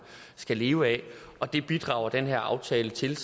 skal leve af og det bidrager den her aftale til